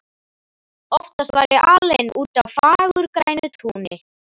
Oftast var ég alein úti á fagurgrænu túni.